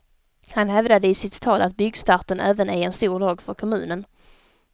Han hävdade i sitt tal att byggstarten även är en stor dag för kommunen.